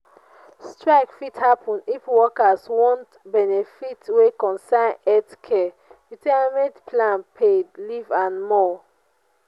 strike fit happen if workers want benefits wey concern healthcare retirement plan paid leave and more